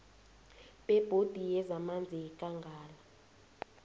bebhodi yezamanzi yekangala